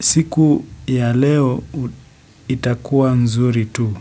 Siku ya leo itakua nzuri tu.